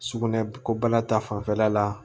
Sugunɛ ko bana ta fanfɛla la